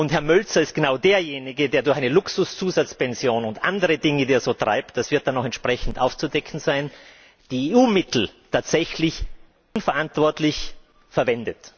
Und Herr Mölzer ist genau derjenige, der durch eine Luxuszusatzpension und andere Dinge, die er so treibt das wird dann noch entsprechend aufzudecken sein, EU Mittel tatsächlich unverantwortlich verwendet.